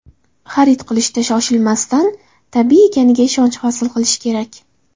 Xarid qilishda shoshilmasdan, tabiiy ekaniga ishonch hosil qilish kerak.